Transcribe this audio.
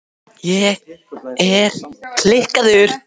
Upphleðsla landsins hefur öll farið fram á síðari hluta nýlífsaldar.